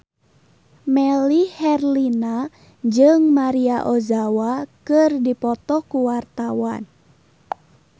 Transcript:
Melly Herlina jeung Maria Ozawa keur dipoto ku wartawan